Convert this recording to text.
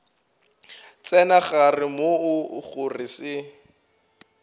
tsena gare moo go se